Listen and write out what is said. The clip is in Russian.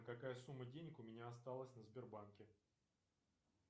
какая сумма денег у меня осталась на сбербанке